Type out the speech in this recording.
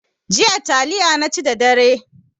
Jiya taliya naci da dare.